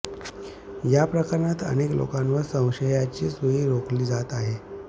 या प्रकणात अनेक लोकांवर संशयाची सुई रोखली जात आहे